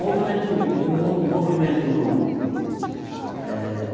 Movimento o o o movimento eh